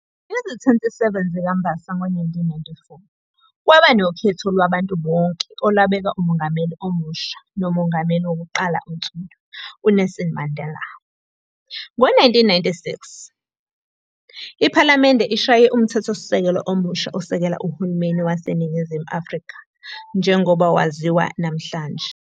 Ngezi-27 zikaMbasa ngo-1994, kwabanokhetho lwabantu bonke olabeka uMongameli omusha noMongameli wokuqala onsundu, u-Nelson Mandela. Ngo-1996, iPhalamende ishaye uMthethosisekelo omusha osekela uhulumeni waseNingingizimu Afrika njengoba waziwa namhlanje.